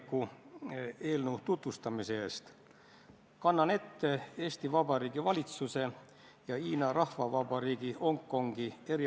Kas te rääkisite mõlema juhatuse liikmega, selgitasite neile põhjalikult – neid ei olnud ka arutelu ajal siin saalis –, milles probleemi sisu on?